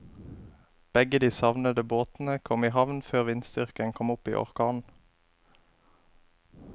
Begge de savnede båtene kom i havn før vindstyrken kom opp i orkan.